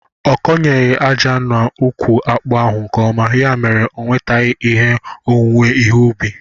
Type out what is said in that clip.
Ọ kọnyeghi aja na ukwu akpu ahụ nke ọma, ya mere onwetaghi ihe n'owuwe ihe ubi